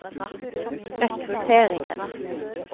rekrutteringen